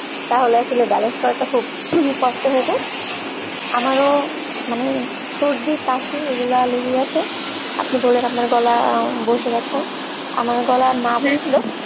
তাহলে আসলে balance করাটা খুব ing কষ্ট হয়ে যায় আমারও মানে সর্দি কাশি এগুলা লেগেই আছে আপনি বললেন আপনার গলা বসে গেছে আমার গলা না বসলেও